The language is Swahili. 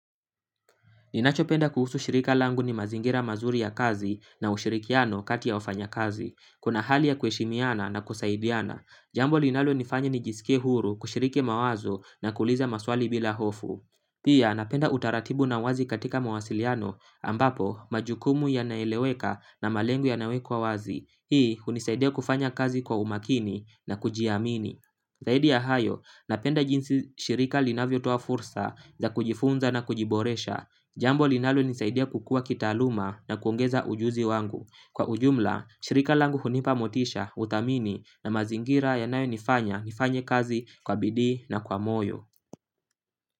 Ninachopenda kuhusu shirika langu ni mazingira mazuri ya kazi na ushirikiano kati ya wafanya kazi. Kuna hali ya kuheshimiana na kusaidiana. Jambo linalo nifanya ni jisikie huru kushiriki mawazo na kuuliza maswali bila hofu. Pia napenda utaratibu na uwazi katika mawasiliano ambapo majukumu yanaeleweka na malengo yanawekwa wazi. Hii hunisaidia kufanya kazi kwa umakini na kujiamini. Zaidi ya hayo, napenda jinsi shirika linavyo toa fursa za kujifunza na kujiboresha. Jambo linalo nisaidia kukua kitaaluma na kuongeza ujuzi wangu. Kwa ujumla, shirika langu hunipa motisha, uthamini na mazingira yanayo nifanya nifanya kazi kwa bidii na kwa moyo.